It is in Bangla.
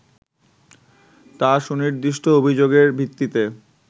তা সুনির্দিষ্ট অভিযোগের ভিত্তিতে